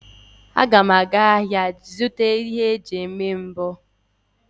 Agam aga ahia ihe eji eme mbọ n'izu a.